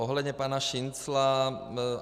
Ohledně pana Šincla.